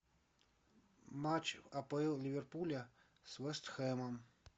матч апл ливерпуля с вест хэмом